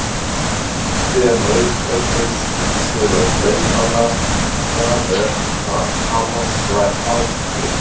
Finnst þér launagreiðslur til leikmanna vera að hafa slæm áhrif hér?